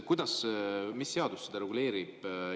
Mis seadus seda reguleerib?